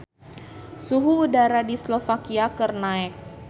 Suhu udara di Slovakia keur naek